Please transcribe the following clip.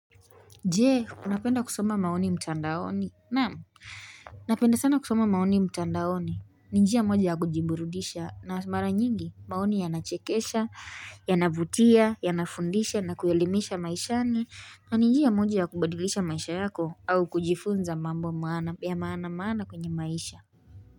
Jee, unapenda kusoma maoni mtandaoni? Naam, napenda sana kusoma maoni mtandaoni. Njia moja ya kujiburudisha, na mara nyingi, maoni yanachekesha, yanavutia, yanafundisha, na kuelimisha maishani. Na ni nijia moja ya kubadilisha maisha yako, au kujifunza mambo maana ya maana maana kwenye maisha.